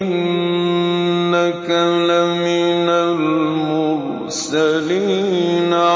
إِنَّكَ لَمِنَ الْمُرْسَلِينَ